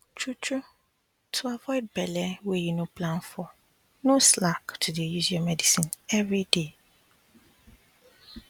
truetrue to avoid belle wey you no plan for no slack to dey use your medicine everyday